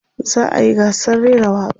za'a yi gasar rera waƙa